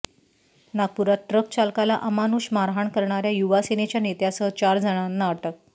नागपुरात ट्रक चालकाला अमानुष मारहाण करणाऱ्या युवा सेनेच्या नेत्यासह चार जणांना अटक